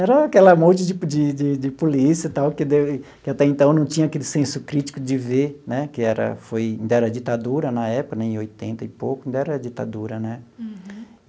Era aquela monte de de de polícia e tal, que que até então não tinha aquele senso crítico de ver né, que era foi ainda era ditadura na época né, em oitenta e pouco, ainda era ditadura né.